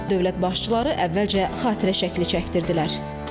Dövlət başçıları əvvəlcə xatirə şəkli çəkdirdilər.